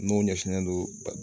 N'o ɲɛsinnen don